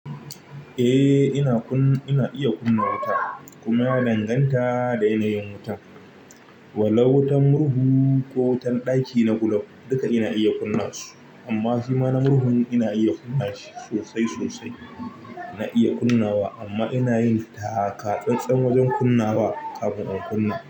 Eh ina kuna, ina iya kunna wuta kuma ina danganta da yanayin wutan. Wala'u wutan murhu ko wutan ɗaki na gulof duka ina iya kunna su amma shima murhun ina iya kunna shi sosai sosai. Na iya kunnawa amma ina yin taka-tsan wajen kunnawa kafin in kunna.